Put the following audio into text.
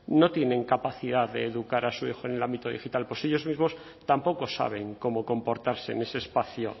no tienen capacidad de educar a su hijo en el ámbito digital pues ellos mismos tampoco saben cómo comportarse en ese espacio